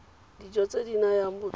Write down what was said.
dijo tse di nayang botsogo